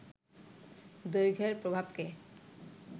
দৈর্ঘ্যের প্রভাবকে